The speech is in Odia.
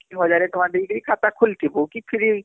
ହଜାରେ ଟଙ୍କା ଦେଇକିରି ଖାତା ଖୁଲିଥିବୁ କି free